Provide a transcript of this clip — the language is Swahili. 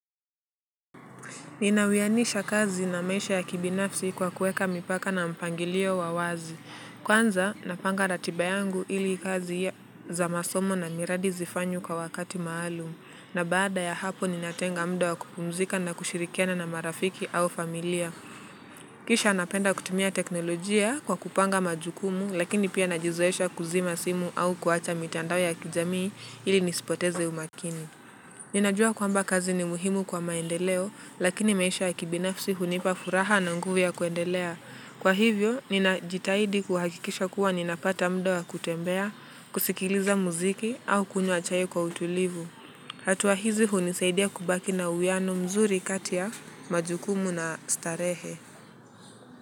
Ninawianisha kazi na maisha ya kibinafsi kwa kuweka mipaka na mpangilio wa wazi. Kwanza, napanga ratiba yangu ili kazi za masomo na miradi zifanywe kwa wakati maalum. Na baada ya hapo ninatenga muda wakupumzika na kushirikiana na marafiki au familia. Kisha napenda kutumia teknolojia kwa kupanga majukumu lakini pia najizoesha kuzima simu au kuwacha mitandao ya kijamii ili nisipoteze umakini. Ninajua kwamba kazi ni muhimu kwa maendeleo lakini maisha ya kibinafsi hunipa furaha na nguvu ya kuendelea. Kwa hivyo, ninajitahidi kuhakikisha kuwa ninapata muda wa kutembea, kusikiliza muziki au kunywa chai kwa utulivu. Hatua hizi hunisaidia kubaki na uwiano mzuri kati ya majukumu na starehe.